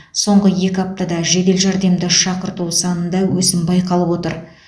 соңғы екі аптада жедел жәрдемді шақырту санында өсім байқалып отыр